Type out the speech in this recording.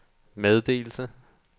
meddelelse